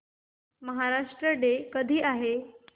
Maharashtra day कधी आहे